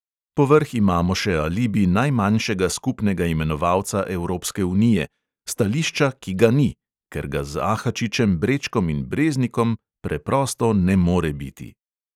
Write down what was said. Povrh imamo še alibi najmanjšega skupnega imenovalca evropske unije: stališča, ki ga ni, ker ga z ahačičem, brečkom in breznikom preprosto ne more biti.